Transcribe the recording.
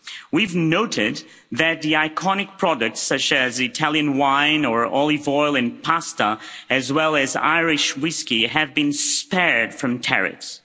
We've noted that the iconic products such as Italian wine or olive oil and pasta, as well as Irish whiskey, have been spared from tariffs.